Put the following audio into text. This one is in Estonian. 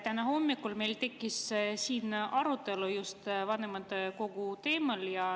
Täna hommikul meil tekkis siin arutelu just vanematekogu teemal.